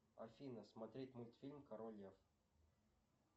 афина смотреть мультфильм король лев